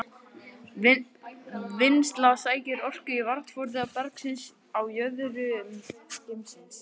Vinnslan sækir orku í varmaforða bergsins á jöðrum geymisins.